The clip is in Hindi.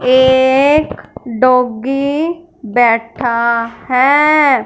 ये एक डॉगी बैठा है।